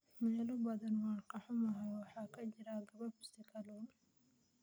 Meelo badan, waan ka xumahay, waxaa ka jira gabaabsi kalluun.